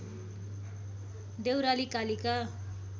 Deurali Kalika